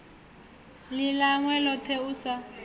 ḽi ḽawe ḽoṱhe u sa